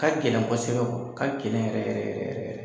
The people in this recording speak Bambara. Ka gɛlɛn kɔsɛbɛ ka gɛlɛn yɛrɛ yɛrɛ yɛrɛ yɛrɛ yɛrɛ.